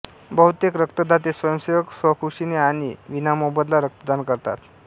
बहुतेक रक्तदाते स्वयंसेवक स्वखुशीने अणि विनामोबदला रक्तदान करतात